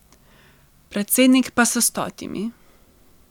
Predsednik pa s stotimi.